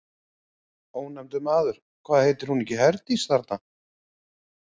Ónefndur maður: Hvað heitir hún ekki Herdís, þarna?